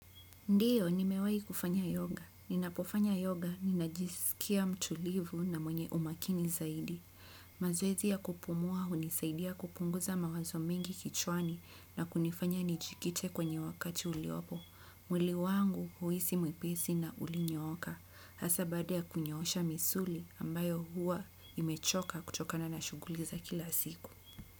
Ndiyo, nimewahi kufanya yoga. Ninapofanya yoga, ninajisikia mtulivu na mwenye umakini zaidi. Mazoezi ya kupumua hunisaidia kupunguza mawazo mengi kichwani na kunifanya nijikite kwenye wakati uliopo. Mwili huhisi mwepesi na ulinyooka. Hasa baada ya kunyoosha misuli ambayo huwa imechoka kutokana na shughuli za kila siku.